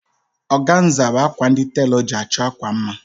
Ọganza bụ akwa ndi telọ ji achọ akwa mma